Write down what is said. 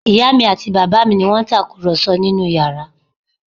Ìyá mi àti bàbá mi ni wọ́n ń tàkùrọ̀sọ nínú yàrá